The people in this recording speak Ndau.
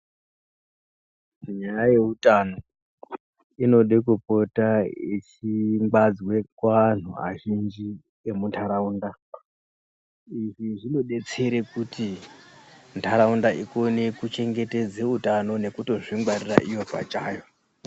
Nyaya yeutano, inode kupota yechingwadzwe kuantu azhinji emuntaraunda .Izvi zvinodetsere kuti, nharaunda ikone kuchengetedze utano, nekutozvingwarira iyo pachayo.